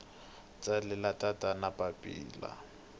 tsalela tatana papila